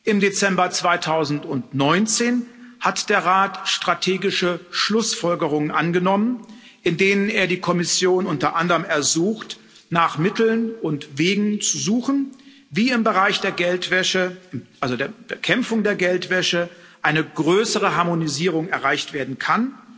Im Dezember 2019 hat der Rat strategische Schlussfolgerungen angenommen, in denen er die Kommission unter anderem ersucht, nach Mitteln und Wegen zu suchen, wie im Bereich der Bekämpfung der Geldwäsche eine größere Harmonisierung erreicht werden kann.